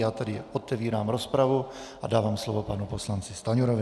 Já tady otevírám rozpravu a dávám slovo panu poslanci Stanjurovi.